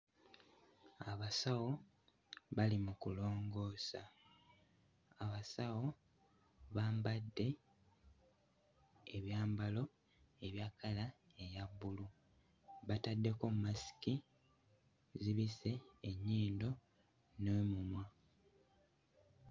Abasawo bali mu kulongoosa. Abasawo bambadde ebyambalo ebya kkala eya bbulu, bataddeko mmasiki zibisse ennyindo n'omumwa.